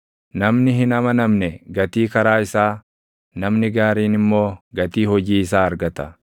Namni hin amanamne gatii karaa isaa, namni gaariin immoo gatii hojii isaa argata.